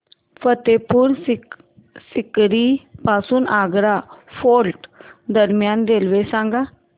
फतेहपुर सीकरी पासून आग्रा फोर्ट दरम्यान रेल्वे सांगा